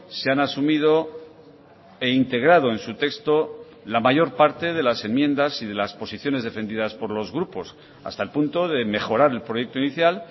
se han asumido e integrado en su texto la mayor parte de las enmiendas y de las posiciones defendidas por los grupos hasta el punto de mejorar el proyecto inicial